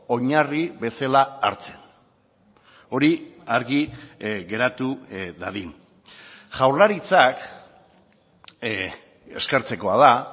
oinarri bezala hartzen hori argi geratu dadin jaurlaritzak eskertzekoa da